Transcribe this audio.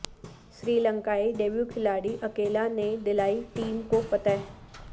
سری لنکا ئی ڈیبوکھلاڑی اکیلا نے دلائی ٹیم کوفتح